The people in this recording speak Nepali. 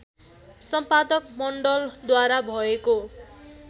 सम्पादक मण्डलद्वारा भएको